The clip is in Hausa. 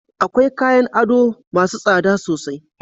Akwai kayan ado masu tsada sosai